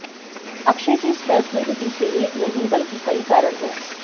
अक्षय के इस फैसले के पीछ एक नहीं बल्कि कई कारण हैं